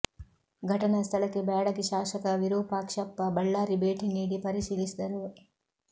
ಘಟನಾ ಸ್ಥಳಕ್ಕೆ ಬ್ಯಾಡಗಿ ಶಾಸಕ ವಿರೂಪಾಕ್ಷಪ್ಪ ಬಳ್ಳಾರಿ ಭೇಟಿ ನೀಡಿ ಪರಿಶೀಲಿಸಿದರು